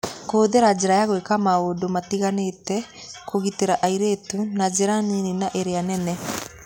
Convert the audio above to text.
Kũhũthĩra njĩra ya gwĩka maũndũ matiganĩte kũgitĩra airĩtu, na njĩra nini na iria nene